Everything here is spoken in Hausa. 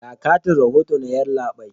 Ga katin rahoto na, yallabai.